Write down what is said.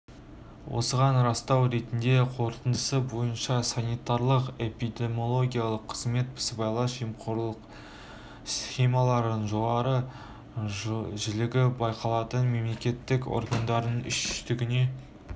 осыған растау ретінде қорытындысы бойынша санитарлық-эпидемиологиялық қызмет сыбайлас жемқорлық схемалардың жоғары жиілігі байқалатын мемлекеттік органдардың үштігіне